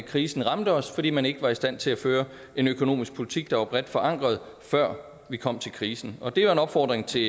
krisen ramte os fordi man ikke var i stand til at føre en økonomisk politik der var bredt forankret før vi kom til krisen og det er en opfordring til